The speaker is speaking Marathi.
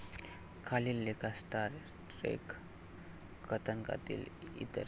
खालील लेखात स्टार ट्रेक कथानकातील ई.